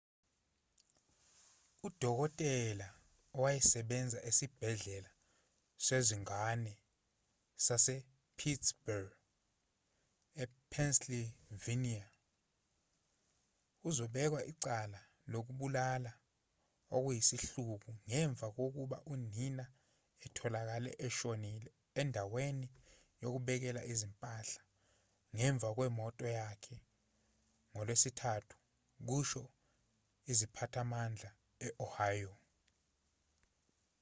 udokotela owayesebenza esibhedlela sezingane sasepittsburgh epennsylvania uzobekwa icala lokubulala okuyisihluku ngemva kokuba unina etholakale eshonile endaweni yokubeka izimpahla ngemuva kwemoto yakhe ngolwesithathu kusho iziphathimandla e-ohio